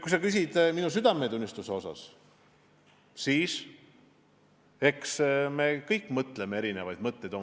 Kui sa küsid minu südametunnistuse kohta, siis eks me kõik mõtleme sisimas erinevaid mõtteid.